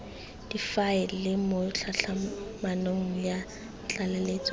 difaele mo tlhatlhamanong ya tlaleletso